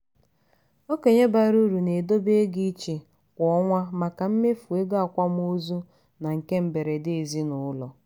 okenye bara uru na-edobe ego iche kwa ọnwa maka mmefu ego akwamozu na nke mberede ezinụlọ